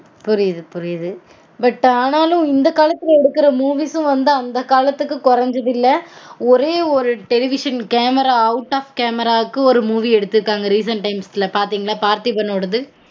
புரியுது புரியுது but ஆனாலும் இந்த காலத்துல எடுக்கு movies